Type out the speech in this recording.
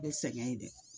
Bɛ sɛgɛn de